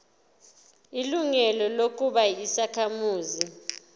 ilungelo lokuba yisakhamuzi